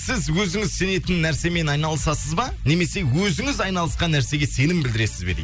сіз өзіңіз сенетін нәрсемен айналысасыз ба немесе өзіңіз айналысқан нәрсеге сенім білдіресіз бе дейді